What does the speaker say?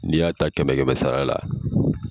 N'i y'a ta kɛmɛ kɛmɛ sara la